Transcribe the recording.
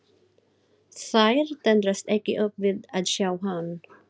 Þær tendrast ekki upp við að sjá hann.